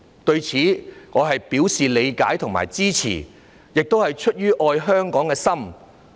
對此，我表示理解和支持，這亦是出於愛香港的心。